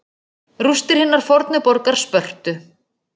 Rústir hinnar fornu borgar Spörtu.